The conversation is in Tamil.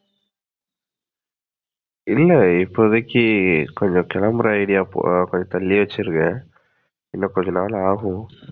இல்ல இப்போதைக்கு கொஞ்சம் கிளம்புற idea ஆஹ் கொஞ்சம் தள்ளி வச்சிருக்கேன். இன்னும் கொஞ்சம் நாள் ஆகும்.